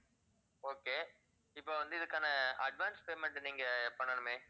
okay இப்ப வந்து இதுக்கான advance payment நீங்கப் பண்ணனுமே